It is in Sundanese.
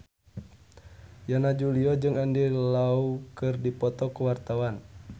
Yana Julio jeung Andy Lau keur dipoto ku wartawan